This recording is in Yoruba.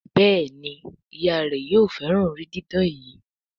Béèni Ìyá rẹ yóò féràn orí didán yí.